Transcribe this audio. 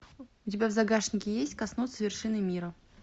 у тебя в загашнике есть коснуться вершины мира